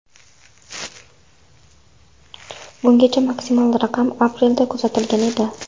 Bungacha maksimal raqam aprelda kuzatilgan edi.